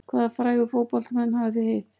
Hvaða frægu fótboltamenn hafa þið hitt?